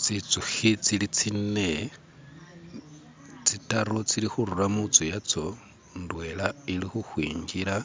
Tsintsukhi tsili tsine, tsi'taru tsili khurura mu'tsu yatso, indwela ili khukhwingila,